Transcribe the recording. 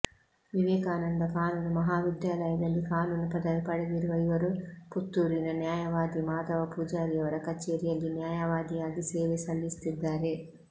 ವಿವೇಕಾನಂದ ಕಾನೂನು ಮಹಾವಿದ್ಯಾಲಯದಲ್ಲಿ ಕಾನೂನು ಪದವಿ ಪಡೆದಿರುವ ಇವರು ಪುತ್ತೂರಿನ ನ್ಯಾಯವಾದಿ ಮಾಧವ ಪೂಜಾರಿಯವರ ಕಚೇರಿಯಲ್ಲಿ ನ್ಯಾಯವಾದಿಯಾಗಿ ಸೇವೆ ಸಲ್ಲಿಸುತ್ತಿದ್ದಾರೆ